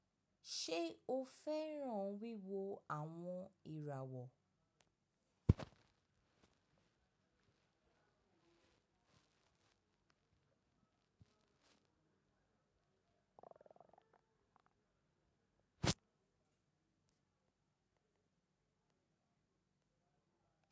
Ṣe o fẹran wiwo awọn irawọ?